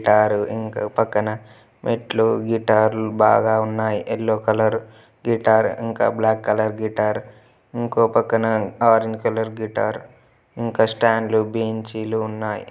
Guitar ఇంకో పక్కన మెట్లు గిటార్లు బాగా ఉన్నాయి. యెల్లో కలర్ గిటార్ ఇంకా బ్లాక్ కలర్ గిటార్ ఇంకో పక్కన ఆరంజ్ కలర్ గిటార్ ఇంకా స్టాండ్ లు బెంచీ లు ఉన్నాయి.